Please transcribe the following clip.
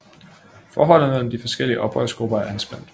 Forholdet mellem de forskellige oprørsgrupper er anspændt